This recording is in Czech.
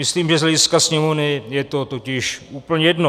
Myslím, že z hlediska Sněmovny je to totiž úplně jedno.